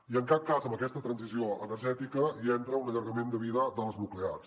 i en cap cas en aquesta transició energètica hi entra un allargament de vida de les nuclears